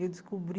Eu descobri